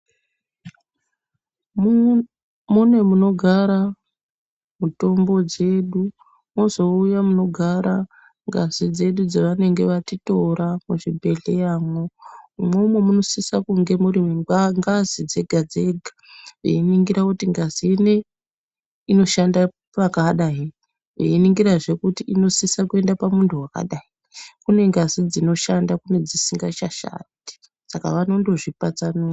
Mune munogara mutombo dzedu mozouya munogara ngazi dzedu dzavanenge vatitora muzvibhehleya mwo umwomwo munosisa kunge muri mengazi dzega dzega veiningira kuti ngazi inei inoshanda pakadai veiningira zvekuti inosisa kuenda pamundu wakadai nekuti kune ngazi dzinoshanda nedzisingashandi saka vanondo zvipatsanura.